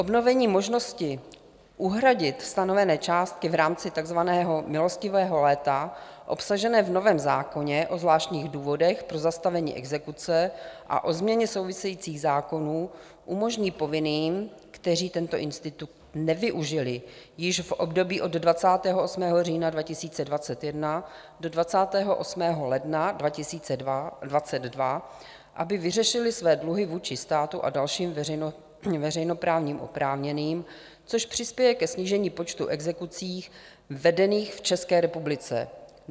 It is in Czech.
Obnovení možnosti uhradit stanovené částky v rámci takzvaného Milostivého léta obsaženého v novém zákoně o zvláštních důvodech pro zastavení exekuce a o změně souvisejících zákonů umožní povinným, kteří tento institut nevyužili již v období od 28. října 2021 do 28. ledna 2022, aby vyřešili své dluhy vůči státu a dalším veřejnoprávním oprávněným, což přispěje ke snížení počtu exekucí vedených v České republice.